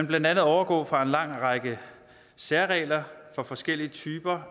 blandt andet overgå fra en lang række særregler for forskellige typer